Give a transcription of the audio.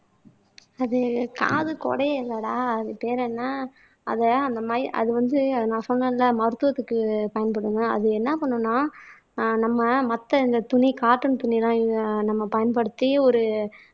அது காது குடையும் இல்லடா அது பேர் என்ன அதை அந்த மயி அது வந்து நான் சொன்னேன்ல, மருத்துவத்துக்கு பயன்படும்ங்க அது என்ன பண்ணும்ன்னா ஆஹ் நம்ம மத்த இந்த துணி காட்டன் துணி எல்லாம் நம்ம பயன்படுத்தி ஒரு